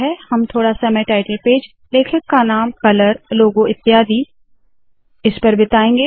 हम थोडा समय टाइटल पेज लेखक का नाम कलर लोगो याने चिन्ह इत्यादि पर बिताएंगे